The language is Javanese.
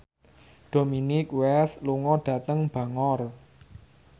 Dominic West lunga dhateng Bangor